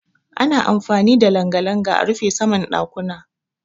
Ana amfani da langa-langa a rufe saman ɗakuna.